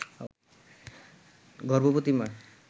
গর্ভবতী মা